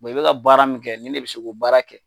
i bɛka ka baara min kɛ ni de bɛ se k'o baara kɛ.